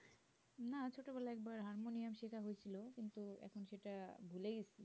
না ছোটো বেলায় একবার হারমোনিয়াম শেখ হয়েছিল কিন্তু এখন সেটা ভুলে গেছি